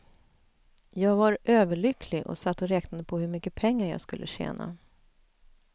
Jag var överlycklig och satt och räknade på hur mycket pengar jag skulle tjäna.